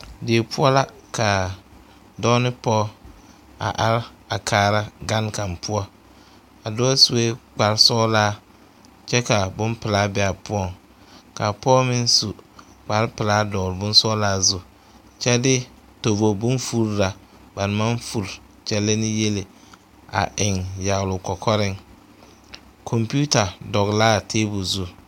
Die poɔ la ka dɔɔ ne pɔge a are kaara gane kaŋ poɔ a dɔɔ sue kparesɔglaa kyɛ ka bompelaa be a poɔŋ ka a pɔge meŋ su kparepelaa dɔgle bonsɔglaa zu kyɛ de tobo bonfuri na ba naŋ maŋ furi kyɛllɛ ne yele a eŋ yagle o kɔkɔreŋ kɔmpeta dɔgle la a tabol zu.